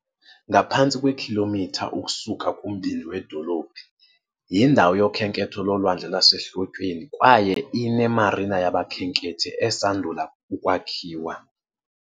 Ngaphantsi kwekhilomitha ukusuka kumbindi wedolophu, yindawo yokhenketho lolwandle lwasehlotyeni kwaye ine-marina yabakhenkethi esandula ukwakhiwa.